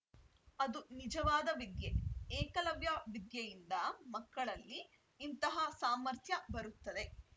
ಅದು ನಿಜವಾದ ವಿದ್ಯೆ ಏಕಲವ್ಯ ವಿದ್ಯೆಯಿಂದ ಮಕ್ಕಳಲ್ಲಿ ಇಂತಹ ಸಾಮರ್ಥ್ಯ ಬರುತ್ತದೆ